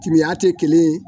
timiiya tɛ kelen ye